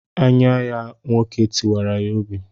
Anye ya nwoke tiwara ya obi.